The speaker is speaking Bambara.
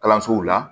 Kalansow la